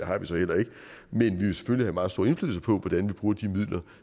har vi så heller ikke men vi vil selvfølgelig have meget stor indflydelse på hvordan vi bruger de midler